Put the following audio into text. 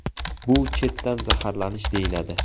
Bu chetdan zaharlanish deyiladi.